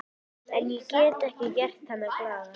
En ég get ekki gert hana glaða.